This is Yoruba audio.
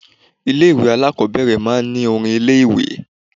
Ilé ìwé alákọ̀ọ́bẹ̀rẹ̀ máa ń ní orin ilé ìwé.